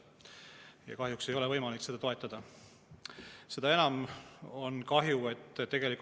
Ja kahjuks ei ole võimalik ka seda toetada.